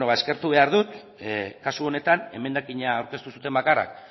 bueno ba eskertu behar dut kasu honetan emendakina aurkeztu zuten bakarrak